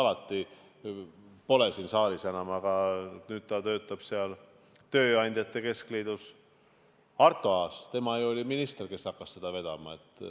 Ta pole siin saalis enam, nüüd ta töötab tööandjate keskliidus, Arto Aas, tema ju oli minister, kes hakkas seda vedama.